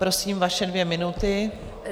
Prosím, vaše dvě minuty.